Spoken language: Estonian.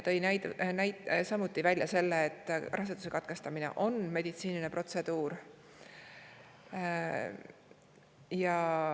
Ta, et raseduse katkestamine on meditsiiniline protseduur.